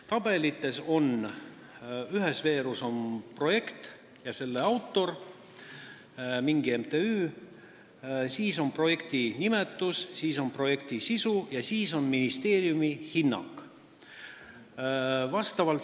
Tabeli ühes veerus on kirjas projekt ja sellega tegeleja, mingi MTÜ, siis on kirjas projekti nimetus, siis projekti sisu ja siis ministeeriumi hinnang.